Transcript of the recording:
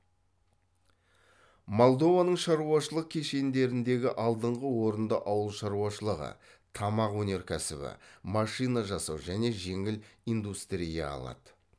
молдованың шаруашылық кешендеріндегі алдыңғы орынды ауыл шаруашылығы тамақ өнеркәсібі машина жасау және жеңіл индустрия алады